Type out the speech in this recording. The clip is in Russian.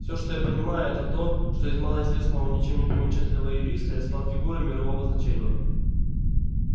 все что я понимаю это то что из малоизвестного ничем не примечательного юриста я стал фигурой мирового значения